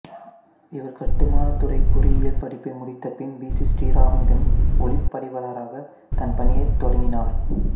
இவர் கட்டுமானத் துறைப் பொறியியல் படிப்பை முடித்தபின் பி சி சிறீராமிடம் ஒளிப்பதிவாளராக தன் பணியைத் தொடங்கினார்